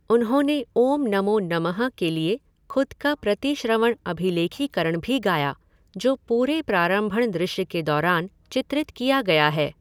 उन्होंने 'ओम नमो नमः' के लिए खुद का प्रतिश्रवण अभिलेखिकरण भी गाया, जो पूरे प्रारंभण दृश्य के दौरान चित्रित किया गया है।